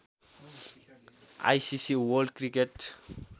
ICC world cricket